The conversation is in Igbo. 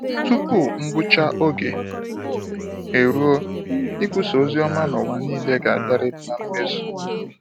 Tupu ngwụcha oge eruo, ikwusa ozioma n'ụwa niile ga-abiarịrị na mmezu